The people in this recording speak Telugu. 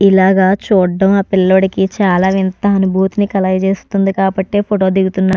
ఇలాగ చూడడం ఆ పిల్లోడికి చాలా వింత అనుబూతిని కలగ చేస్తుంది కాబట్టే ఫోటో దిగుతున్నా--